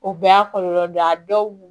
O bɛɛ y'a kɔlɔlɔ dɔ ye a dɔw